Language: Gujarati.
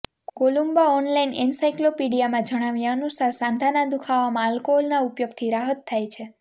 કોલુમ્બા ઓનલાઈન એનસાઇક્લોપીડિયામાં જણાવ્યા અનુસાર સાંધાના દુખાવામાં આલ્કોહોલના ઉપયોગથી રાહત થાય છે